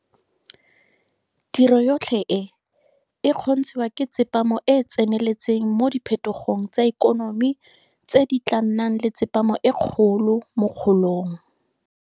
Tiro yotlhe e, e kgontshiwa ke tsepamo e e tseneletseng mo diphetogong tsa ikonomi tse di tla nnang le tsepamo e kgolo mo kgolong.